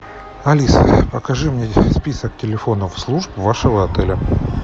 алиса покажи мне список телефонов служб вашего отеля